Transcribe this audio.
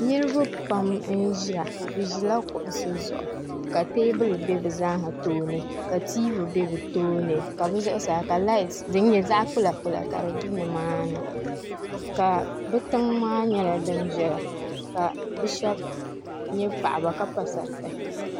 Niriba pam n-ʒiya bɛ ʒila kuɣisi zuɣu ka teebuli be bɛ zaaha tooni ka tiivi be bɛ tooni ka bɛ zuɣusaa ka laati din nyɛ zaɣ' kpulakpula ka di be nimaani ka tiŋa maa nyɛla din viɛla ka bɛ shɛba nyɛ paɣiba ka pa sariti